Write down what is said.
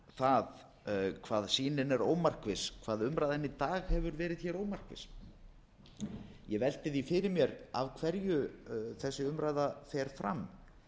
það hvað sýnin er ómarkviss hvað umræðan í dag hefur verið ómarkviss ég velti því fyrir mér af hverju þessi umræða fer fram